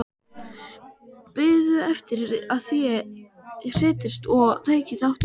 Biðu eftir að ég settist og tæki þátt í fjörinu.